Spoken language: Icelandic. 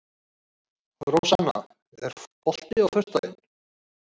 Rósanna, er bolti á föstudaginn?